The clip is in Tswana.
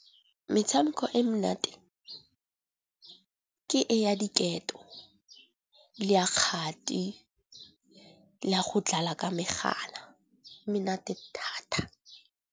Metshameko e monate ke e ya diketo le ya kgati le a go dlala ka megala. E monate thata.